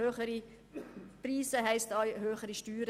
Höhere Preise heissen auch, höhere Steuern.